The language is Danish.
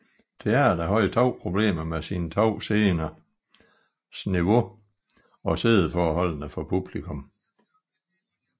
Teater havde problemer med sine 2 sceners niveau og siddeforholdene for publikum